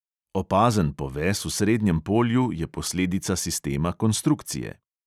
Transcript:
Opazen poves v srednjem polju je posledica sistema konstrukcije.